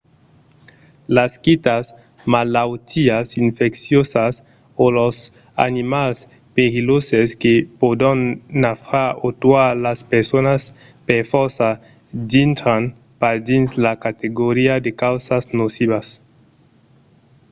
las quitas malautiás infecciosas o los animals perilhoses que pòdon nafrar o tuar las personas per fòrça dintran pas dins la categoria de causas nocivas